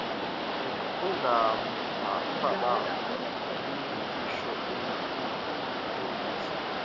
ungabamba umbhikisho utoyize